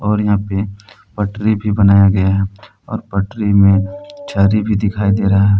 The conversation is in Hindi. और यहां पे पटरी भी बनाया गया है और पटरी में झरी भी दिखाई दे रहा है।